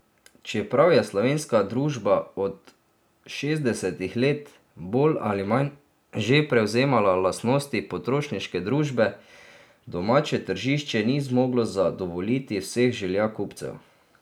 Čeprav je slovenska družba od šestdesetih let bolj ali manj že prevzemala lastnosti potrošniške družbe, domače tržišče ni zmoglo zadovoljiti vseh želja kupcev.